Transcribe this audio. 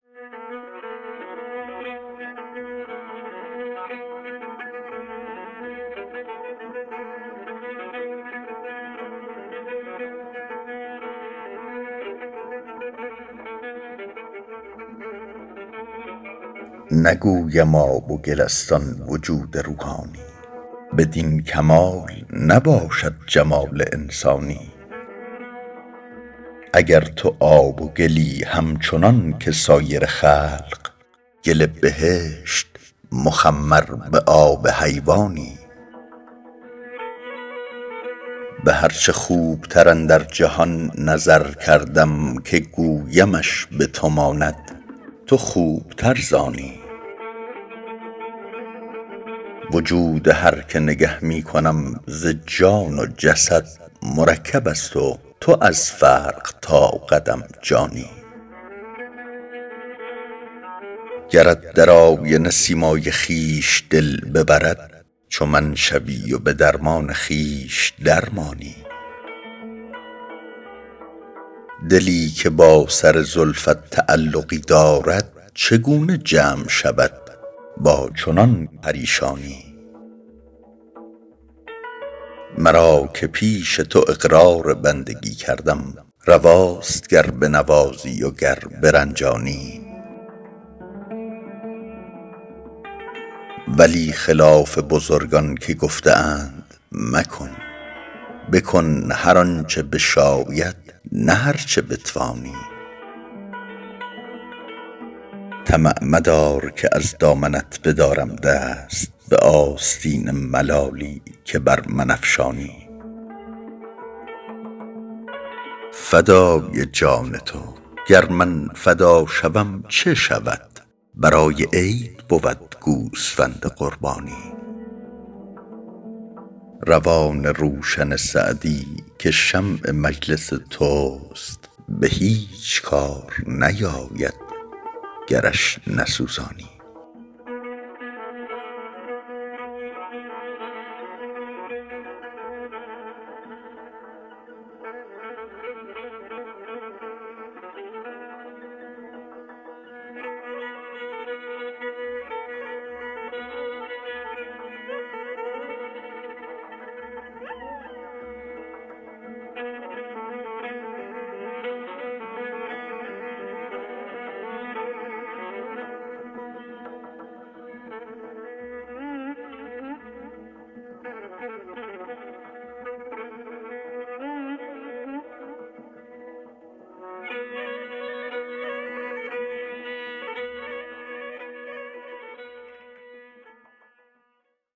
نگویم آب و گل است آن وجود روحانی بدین کمال نباشد جمال انسانی اگر تو آب و گلی همچنان که سایر خلق گل بهشت مخمر به آب حیوانی به هر چه خوبتر اندر جهان نظر کردم که گویمش به تو ماند تو خوبتر ز آنی وجود هر که نگه می کنم ز جان و جسد مرکب است و تو از فرق تا قدم جانی گرت در آینه سیمای خویش دل ببرد چو من شوی و به درمان خویش در مانی دلی که با سر زلفت تعلقی دارد چگونه جمع شود با چنان پریشانی مرا که پیش تو اقرار بندگی کردم رواست گر بنوازی و گر برنجانی ولی خلاف بزرگان که گفته اند مکن بکن هر آن چه بشاید نه هر چه بتوانی طمع مدار که از دامنت بدارم دست به آستین ملالی که بر من افشانی فدای جان تو گر من فدا شوم چه شود برای عید بود گوسفند قربانی روان روشن سعدی که شمع مجلس توست به هیچ کار نیاید گرش نسوزانی